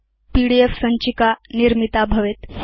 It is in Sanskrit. पीडीएफ सञ्चिका निर्मिता भवेत्